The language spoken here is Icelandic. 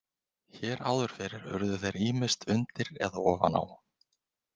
Hér áður fyrr urðu þeir ýmist undir eða ofan á.